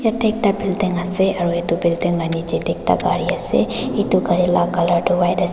yati ekta building ase aro eto building la neji teh ekta kari ase eto kari laga colour toh white ase.